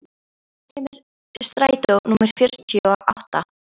Húnn, hvenær kemur strætó númer fjörutíu og átta?